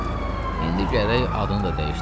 Oğlum, indi gərək adını da dəyişdirəsən.